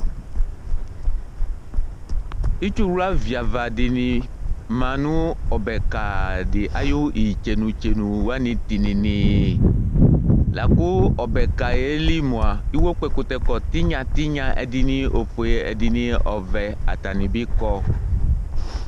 Utsuɣla viava dɩnɩ ma nʋ ɔbɛka dɩ ayʋ itsenu-tsenu wanɩ tɩnɩnɩɩ la kʋ ɔbɛ ka yɛ li mʋa, iwokpɔɛkʋtɛkɔ tɩnya tɩnya, ɛdɩnɩ ofue ɛdɩnɩ ɔvɛ atanɩ bɩ kɔ